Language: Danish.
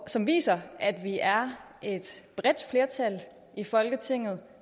som viser at vi er et bredt flertal i folketinget